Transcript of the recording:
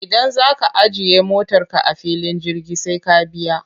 Idan za ka ajiye motarka a filin jirgi sai ka biya.